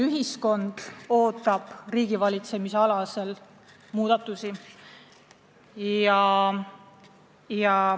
Ühiskond ootab riigivalitsemises muudatusi.